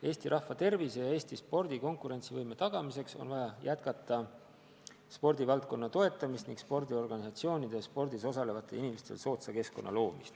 Eesti rahva tervise ja Eesti spordi konkurentsivõime tagamiseks on vaja jätkata spordivaldkonna toetamist, et luua spordiorganisatsioonidele ja spordis osalevatele inimestele soodne keskkond.